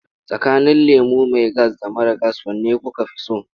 Tsakanin lemo mai gas da mara gas wane kuka fi so?